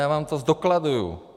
Já vám to zdokladuju.